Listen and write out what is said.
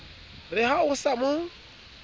re ha o sa mo